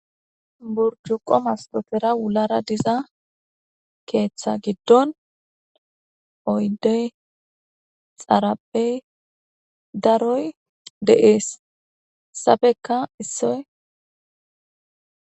Burjuqo mastofera wulara diza keeththa giddon oydey xarabey daroy de'ees sabekka issoy.